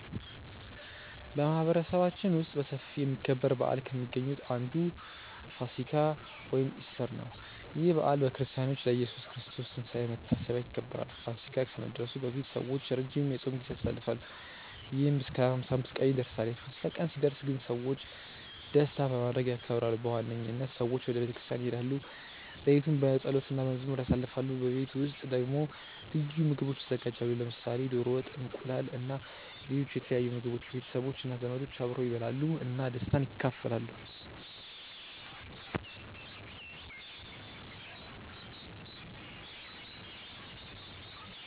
በማህበረሰባችን ውስጥ በሰፊ የሚከበር በዓል ከሚገኙት መካከል አንዱ ፋሲካ (ኢስተር) ነው። ይህ በዓል በክርስቲያኖች ለኢየሱስ ክርስቶስ ትንሳኤ መታሰቢያ ይከበራል። ፋሲካ ከመድረሱ በፊት ሰዎች ረጅም የጾም ጊዜ ያሳልፋሉ፣ ይህም እስከ 55 ቀናት ይደርሳል። የፋሲካ ቀን ሲደርስ ግን ሰዎች ደስታ በማድረግ ያከብራሉ። በዋነኝነት ሰዎች ወደ ቤተ ክርስቲያን ይሄዳሉ፣ ሌሊቱን በጸሎት እና በመዝሙር ያሳልፋሉ። በቤት ውስጥ ደግሞ ልዩ ምግቦች ይዘጋጃሉ፣ ለምሳሌ ዶሮ ወጥ፣ እንቁላል እና ሌሎች የተለያዩ ምግቦች። ቤተሰቦች እና ዘመዶች አብረው ይበላሉ እና ደስታን ይካፈላሉ።